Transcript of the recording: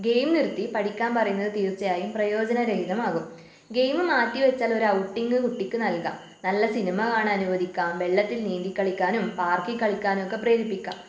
Game നിർത്തി പഠിക്കാൻ പറയുന്നത് തീർച്ചയായും പ്രയോജനരഹിതമാകും. ഗെയിമ് മാറ്റിവച്ചാൽ ഒരു ഔട്ടിംഗ് കുട്ടിക്ക് നൽകാം നല്ല സിനിമ കാണാൻ അനുവദിക്കാം വെള്ളത്തിൽ നീന്തി കളിക്കാനും പാർക്കിൽ കളിക്കാനുമൊക്കെ പ്രേരിപ്പിക്കാം.